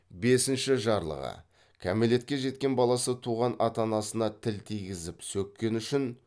бесінші жарлығы кәмелетке жеткен баласы туған ата анасына тіл тигізіп сөккені үшін